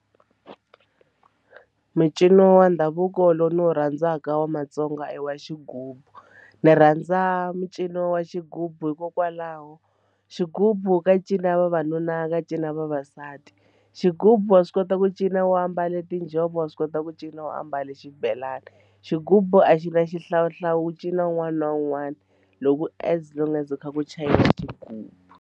Mincino wa ndhavuko lowu ndzi wu rhandzaka wa Matsonga i wa xigubu ni rhandza mincino wa xigubu hikokwalaho xigubu ka ncino vavanuna ka ya vavasati xigubu wa swi kota ku cina u a mbale tinjhovo wa swi kota ku cina wa ambale xibelani xigubu a xi na xihlawuhlawu ku cina wun'wana na wun'wana loko as long as ku kha ku xigubu.